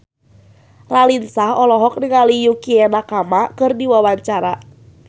Raline Shah olohok ningali Yukie Nakama keur diwawancara